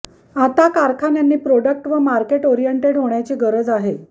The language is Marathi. आता कारखान्यांनी प्रॉडक्ट व मार्केट ओरिएंटेड होण्याची गरज आहे